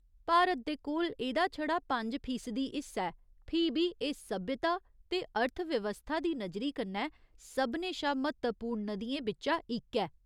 भारत दे कोल एह्दा छड़ा पंज फीसदी हिस्सा ऐ, फ्ही बी एह् सभ्यता ते अर्थव्यवस्था दी नजरी कन्नै सभनें शा म्हत्तवपूर्ण नदियें बिच्चा इक ऐ।